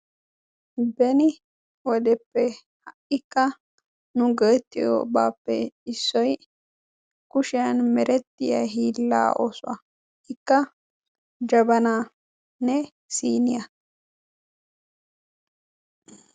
Beni wodeppe ha'ikka nu go'etiyoobappe issoy kushiyaan merettiya hiila oosuwaa. ikka jabbananne siniyaa.